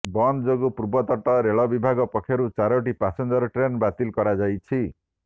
ବନ୍ଦ ଯୋଗୁଁ ପୂର୍ବତଟ ରେଳ ବିଭାଗ ପକ୍ଷରୁ ଚାରୋଟି ପାସେଞ୍ଜର ଟ୍ରେନ୍ ବାତିଲ କରାଯାଇଛି